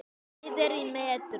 Hæðir í metrum.